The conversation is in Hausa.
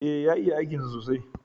E, ya iya aikinsa sosai.